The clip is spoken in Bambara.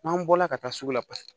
N'an bɔla ka taa sugu la paseke